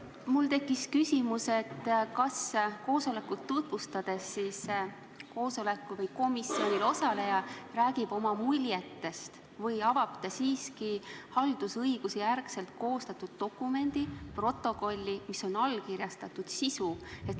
Mul tekkis järgmine küsimus: kas koosolekut tutvustades räägib komisjoni töös osaleja oma muljetest või avab ta haldusõigusjärgselt koostatud dokumendi, allkirjastatud protokolli sisu?